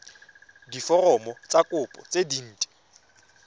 diforomo tsa kopo tse dint